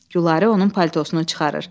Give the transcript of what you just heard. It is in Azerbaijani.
Gülarə onun paltosunu çıxarır.